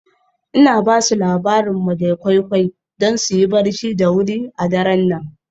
Ina ba su labarin madam koi koi don su yi barci da wuri a daren nan.